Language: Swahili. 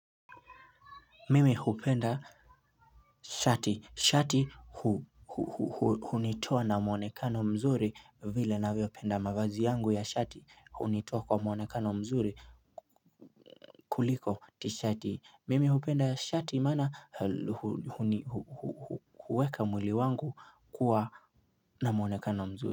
Mimi hupenda shati, shati hunitoa na muonekano mzuri vile navyopenda mavazi yangu ya shati hunitoa kwa muonekano mzuri kuliko tishati mimi hupenda shati mana huweka mwili wangu kuwa na muonekano mzuri.